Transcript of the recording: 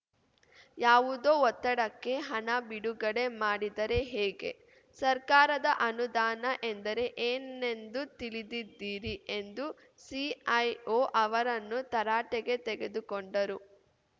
ಯಾವುದೋ ಒತ್ತಡಕ್ಕೆ ಹಣ ಬಿಡುಗಡೆ ಮಾಡಿದರೆ ಹೇಗೆ ಸರ್ಕಾರದ ಅನುದಾನ ಎಂದರೆ ಏನೆಂದು ತಿಳಿದಿದ್ದೀರಿ ಎಂದು ಸಿಐಒ ಅವರನ್ನು ತರಾಟೆಗೆ ತೆಗೆದುಕೊಂಡರು